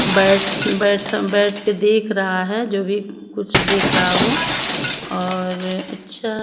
बैठ बैठम बैठ के देख रहा है जो भी कुछ देख रहा हो और अच्छा --